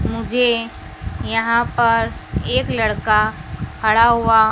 मुझे यहां पर एक लड़का खड़ा हुआ--